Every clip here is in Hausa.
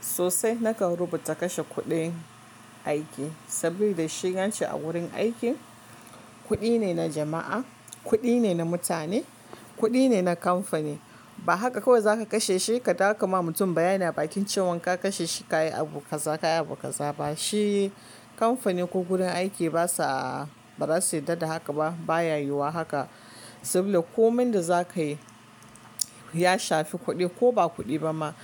Sosai na kan rubuta kashe kuɗin aiki saboda shigan ce a wurin aiki kuɗi ne na jama'a, kuɗi ne na mutane, kuɗi ne na kamfani. Ba haka kawai za ka kashe shi ka dawo ka ma mutum bayani a bakin cewan ka kashe shi ka yi abu ka zaba ka yi abu ka za ba. Shi kamfanin ko gurin aiki ba sa, ba za su yarda da haka ba, ba ya yiwuwa haka. Saboda komai da za ka yi ya shafi kuɗi ko ba kuɗi ba ma.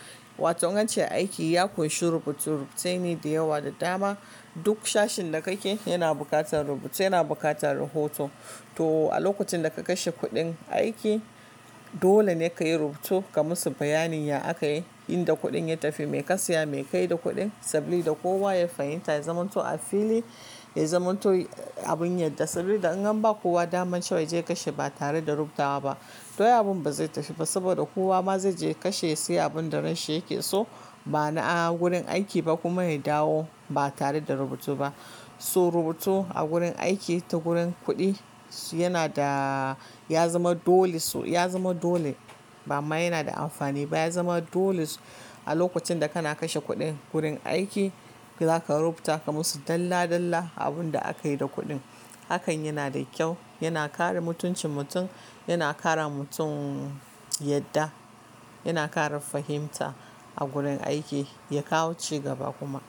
Wato in ace aiki ya kunshi rubutu, rubuttaini da yawa da dama. Duk sashin da ka ke yana buƙatar rubutu, yana buƙatar rahoto. To a lokacin da ka kashe kuɗin aiki dole ne ka yi rubutu ka musu bayanin ya ake yi, inda kuɗin ya tafi, me ka saya, me ka yi da kuɗin saboda kowa ya fahimta, ya zamanto a fili, ya zamanto abun yadda. Sabida in an ba kowa daman cewa zai je ya kashe ba tare da rubutawa ba, to abun ba zai tashi ba saboda kowa ma zai je ya kashe ya siya abun da ransa yake so ba na a wurin aiki ba kuma ya dawo ba tare da rubutu ba. So rubutu a gurin aiki ta gurin kuɗi yana da ya zama dole, ya zama dole ba ma yana da amfani ba. Ya zama dole a lokacin da kana kashe kuɗin gurin aiki za ka rubuta ka musu dalla dalla abun da aka yi da kuɗin. Hakan yana da kyau, yana kare mutuncin mutum, yana kara mutum yadda, yana kare fahimta a gurin aiki ya kawo cigaba kuma.